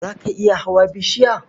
Za ka iya hawa bishiya?